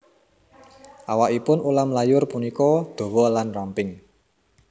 Awakipun ulam layur punika dawa lan ramping